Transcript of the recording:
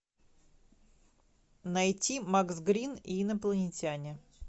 найти макс грин и инопланетяне